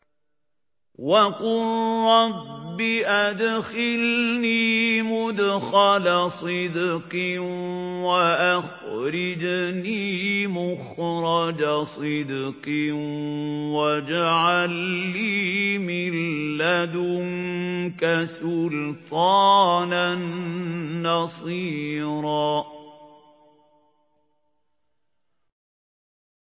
وَقُل رَّبِّ أَدْخِلْنِي مُدْخَلَ صِدْقٍ وَأَخْرِجْنِي مُخْرَجَ صِدْقٍ وَاجْعَل لِّي مِن لَّدُنكَ سُلْطَانًا نَّصِيرًا